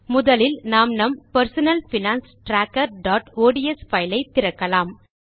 முதலில் நாம் நம் personal finance trackerஒட்ஸ் பைல் ஐ திறக்கலாம்